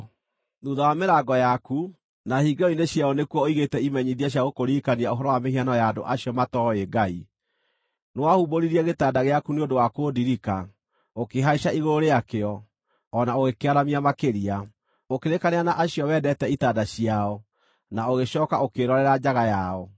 Thuutha wa mĩrango yaku, na hingĩro-inĩ ciayo nĩkuo ũigĩte imenyithia cia gũkũririkania ũhoro wa mĩhianano ya andũ acio matooĩ Ngai. Nĩwahumbũririe gĩtanda gĩaku nĩ ũndũ wa kũndirika, ũkĩhaica igũrũ rĩakĩo, o na ũgĩkĩaramia makĩria; ũkĩrĩĩkanĩra na acio wendete itanda ciao, na ũgĩcooka ũkĩĩrorera njaga yao.